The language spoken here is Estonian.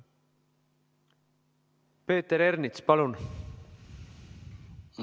Peeter Ernits, palun!